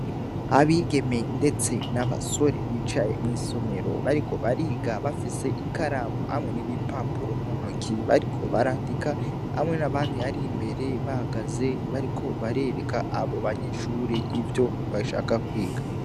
Abigeme, ndetse n'abasore bicaye mw'isomero bariko bariga bafise ikaramu hamwe n'iboipapuro muntoki bariko barandika hamwe n'abandi ari mbere bagaze bariko barereka abo banyeshuri ivyo bashaka kwiga.